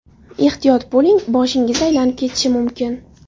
Ehtiyot bo‘ling: boshingiz aylanib ketishi mumkin!